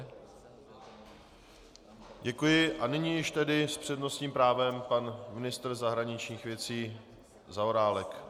Děkuji a nyní již tedy s přednostním právem pan ministr zahraničních věcí Zaorálek.